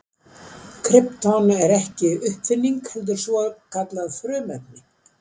Krypton er ekki uppfinning heldur svokallað frumefni.